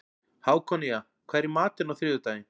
Hákonía, hvað er í matinn á þriðjudaginn?